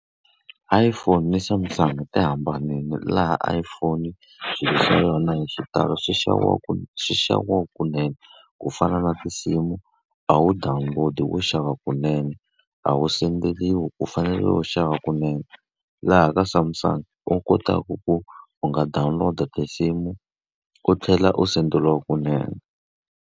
iPhone ni Samsung ti hambanile laha iPhone swilo swa yona hi xitalo swi xaviwa kwini? Swi xaviwa kunene. Ku fana na tinsimu, a wu download-i, wo xava wa kunene, a wu send-eriwi, u fanele u xava kunene. Laha ka Samsung u kotaka ku u nga download-a tinsimu u tlhela u send-eriwa kunene.